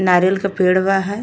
नारियल के पेड़ बा है।